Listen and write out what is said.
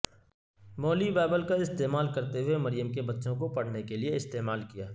مولی بائبل کا استعمال کرتے ہوئے مریم کے بچوں کو پڑھنے کے لئے استعمال کیا